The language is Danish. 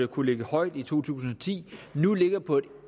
kunne ligge højt i to tusind og ti nu ligger på et